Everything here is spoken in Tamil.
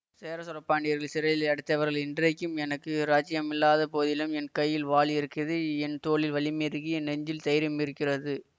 சேர சோழ பாண்டியர்களைச் சிறையில் அடைச்சு அவர்களை இன்றைக்கும் எனக்கு இராஜ்யமில்லாத போதிலும் என் கையில் வாள் இருக்கிது என் தோளில் வலிமை இருக்கி என் நெஞ்சில் தைரியமிருக்கிறது